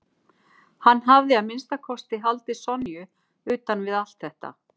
Hann hafði að minnsta kosti haldið Sonju utan við allt þetta.